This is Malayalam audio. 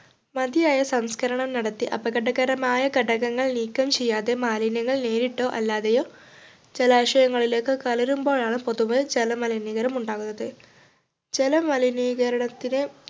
മതിയായ സംസ്കരണം നടത്തി അപകടകരമായ ഘടകങ്ങൾ നീക്കം ചെയ്യാതെ മാലിന്യങ്ങൾ നേരിട്ടോ അല്ലാതെയോ ജലാശയങ്ങളിലേക്ക് കലരുമ്പോഴാണ് പൊതുവെ ജലമലിനീകരണം ഉണ്ടാകുന്നത് ജലമലിനീകരണത്തിന്